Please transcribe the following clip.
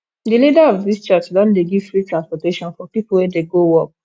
di leader of dis church don dey give free transportation for pipu wey dey go work